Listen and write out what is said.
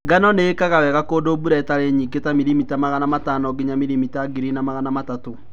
Ngano nĩĩkaga wega kundu mbura itari nyingi ta milimita magana matano nginya milimita ngiri na magana matatu